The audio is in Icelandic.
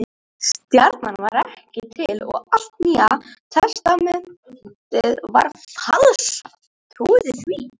Stjarnan var ekki til og allt Nýja testamentið er falsað.